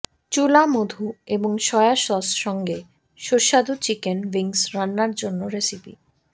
চুলা মধু এবং সয়া সস সঙ্গে সুস্বাদু চিকেন উইংস রান্নার জন্য রেসিপি